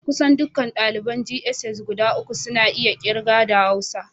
Kusan dukkan daliban jss guda uku suna iya kirga da Hausa